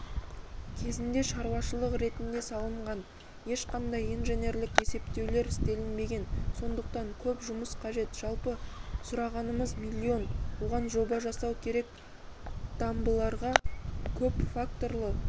кезінде шаруашылық ретінде салынған ешқандай инженерлік есептеулер істелінбеген сондықтан көп жұмыс қажет жалпы сұрағанымыз миллион оған жоба жасау керек дамбыларға көпфакторлы